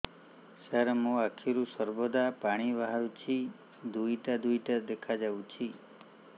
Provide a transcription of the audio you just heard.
ସାର ମୋ ଆଖିରୁ ସର୍ବଦା ପାଣି ବାହାରୁଛି ଦୁଇଟା ଦୁଇଟା ଦେଖାଯାଉଛି